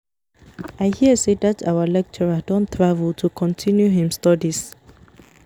I hear say dat our lecturer don travel to continue im studies